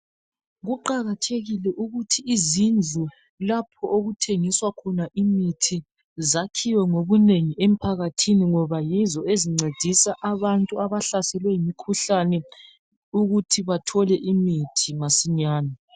Kuqakathekile ukuthi izindlu lapho okuthengiswa khona imithi zakhiwe ngobunengi emphakathini. Ngoba yizo ezincedisa abantu abahlaselwe yimikhuhlane ukuthi bathole imithi masinyane.